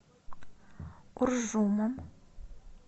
уржумом